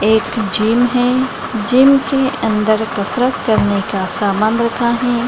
एक जिम है। जिम के अंदर कसरत करने का सामान रखा है।